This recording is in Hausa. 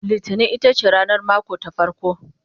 littani itace ranar mako ta farko